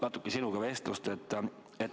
Algul natuke vestlust sinuga.